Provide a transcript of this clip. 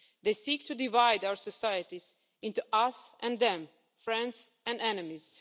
They seek to divide our societies into us and them, friends and enemies.